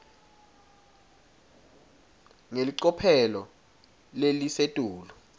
ngelicophelo lelisetulu